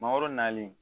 Mangoro nalen